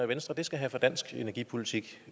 venstre det skal have for dansk energipolitik